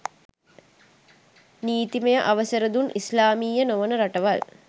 නීතිමය අවසරය දුන් ඉස්ලාමීය නොවන රටවල්